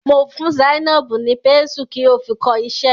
Mo fún Zainab ni pésù ki o fi kọ iṣẹ́.